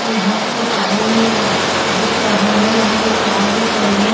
यहाँ पे पानी दिख रहा है यहाँ एक नाव दिख रही है।